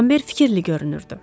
Ramber fikirli görünürdü.